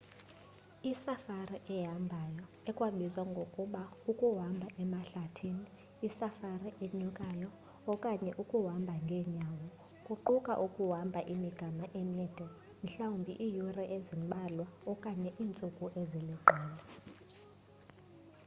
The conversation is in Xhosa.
isafari ehambayo ekwabizwa ngokuba ukuhamba emahlathini” isafari enyukayo” okanye ukuhamba ngeenyawo” kuquka ukuhamba imigama emide mhlawumbi iiyure ezimbalwa okanye iintsuku eziliqela